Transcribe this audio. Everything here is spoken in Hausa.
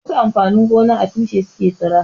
Wasu amfanin gona a tushe su ke tsira.